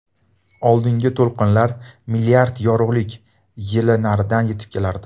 Oldingi to‘lqinlar milliard yorug‘lik yili naridan yetib kelardi.